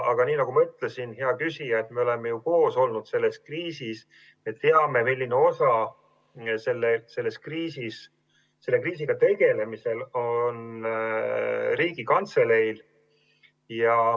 Aga nagu ma ütlesin, hea küsija, me oleme ju koos selles kriisis olnud, me teame, milline osa selle kriisiga tegelemisel on olnud Riigikantseleil.